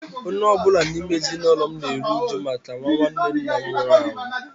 Onye ọ bụla n’ime ezinụlọ m na-eru uju maka nwa nwanne nna m nwụrụ anwụ.